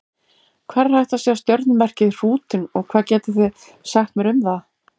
Hvar er hægt að sjá stjörnumerkið Hrútinn og hvað getið þið sagt mér um það?